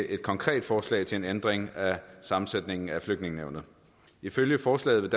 et konkret forslag til en ændring af sammensætningen af flygtningenævnet ifølge forslaget